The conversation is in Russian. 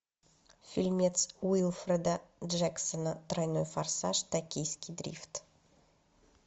фильмец уилфреда джексона тройной форсаж токийский дрифт